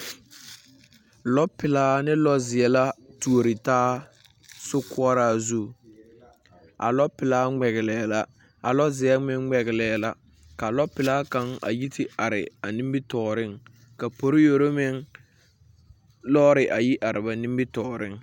Lͻpelaa ne lͻͻzeԑ la atuori taa sokoͻraa zu. A lͻpelaa ŋmԑgelԑԑ, a lͻzeԑ meŋ ŋmԑgelԑԑ la. Ka lͻpelaa kaŋa a yi te are a nimitͻͻreŋ. Ka poliyoro meŋ lͻͻre a yi te a te are ba nimitͻͻreŋ.